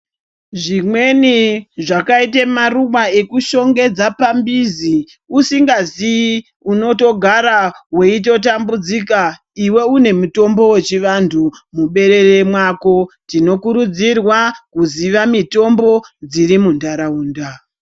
Zvimweni zvakaite maruva ekushongedza pambizi uzinga zii unotodara veitotambudzika ive une mutombo vechivantu muberere mwako. Tinokurudzirwa kuziva mitombo dziri muntaraunda.